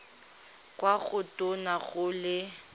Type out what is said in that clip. kwa go tona go le